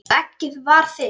Og eggið var þitt!